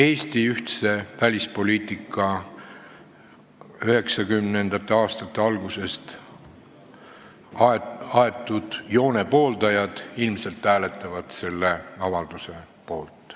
1990. aastate algusest aetud Eesti ühtse välispoliitika joone pooldajad hääletavad ilmselt selle avalduse poolt.